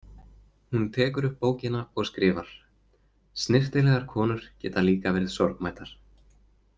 Hún tekur upp bókina og skrifar: Snyrtilegar konur geta líka verið sorgmæddar.